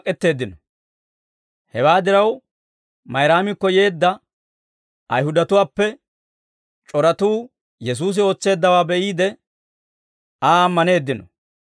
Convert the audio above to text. Hewaa diraw, Mayraamikko yeedda Ayihudatuwaappe c'oratuu Yesuusi ootseeddawaa be'iide, Aa ammaneeddino.